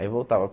Aí voltava.